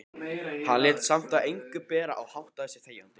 Hann lét samt á engu bera og háttaði sig þegjandi.